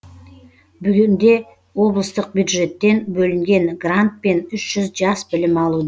бүгінде облыстық бюджеттен бөлінген грантпен үш жүз жас білім алуда